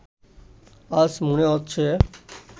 আজ মনে হচ্ছে